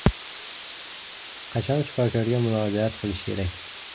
Qachon shifokorga murojaat qilish kerak?